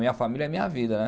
Minha família é minha vida.